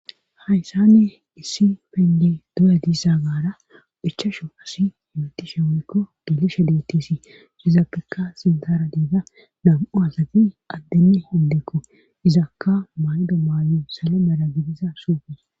hayssanne issi penge doya diissa gaara ichasho asiy himitishe weykko gelisha detisi izafekka sintara diida dam7u asati addeni hondekko izakka maydo maayo salo mala gidiza suufes